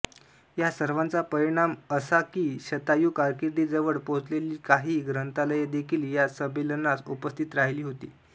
या सर्वाचा परिणाम असा की शतायु कारकीर्दीजवळ पोहोचलेली काही ग्रंथालयेदेखील या संमेलनास उपस्थित राहिली होती